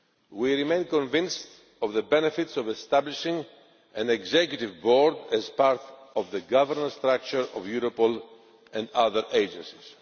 We remain convinced of the benefits of establishing an Executive Board as part of the governance structure of Europol and other agencies.